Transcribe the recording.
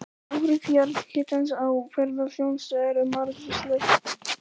Áhrif jarðhitans á ferðaþjónustu eru margvísleg.